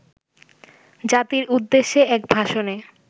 জাতির উদ্দেশ্যে এক ভাষণে